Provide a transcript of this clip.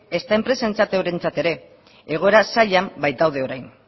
ezta enpresarentzat eurentzat ere egoera zailean baitaude orain